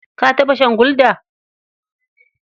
Ka taɓa shan Gulda?